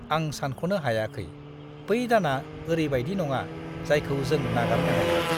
आं सानख'नो हायाखै! बै दाना ओरैबायदि नङा, जायखौ जों नागारनो हायो।